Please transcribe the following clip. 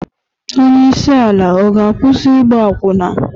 Onye isi ala ọ ga-akwụsị ịgba akwụna?